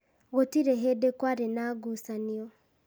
Gũtirĩ hĩndĩ kwarĩ na ngucanio.